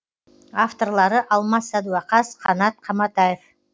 авторлары алмас садуақас қанат қаматаев